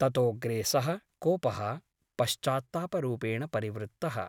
ततोऽग्रे सः कोपः पश्चात्तापरूपेण परिवृत्तः ।